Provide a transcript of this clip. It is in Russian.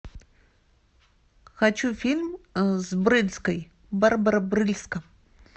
хочу фильм с брыльской барбара брыльска